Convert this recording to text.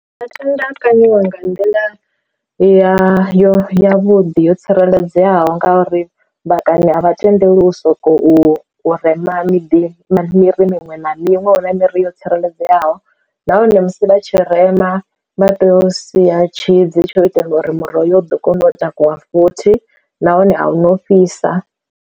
Vha tenda a kaniwa nga nḓila ya yo ya vhuḓi yo tsireledzeaho ngauri ḓakani a vha tendeli u sokou rema miḓi miri miṅwe na miṅwe huna miri yo tsireledzeaho, nahone musi vha tshirema vha tea u sia tshidzini tsho u itela uri muroho yo ḓo kona u takuwa futhi nahone ahuna u fhisa.